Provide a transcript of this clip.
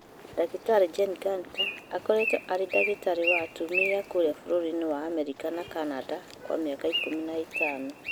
Ndagĩtarĩ Jen Gunter akoretwo arĩ ndagĩtarĩ wa atumia kũrĩa bũrũri wa Amerika na Canada Kwa mĩaka ikũmi na ĩtano